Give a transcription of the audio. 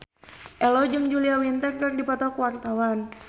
Ello jeung Julia Winter keur dipoto ku wartawan